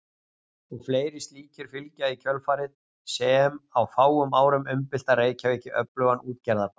Og fleiri slíkir fylgja í kjölfarið sem á fáum árum umbylta Reykjavík í öflugan útgerðarbæ.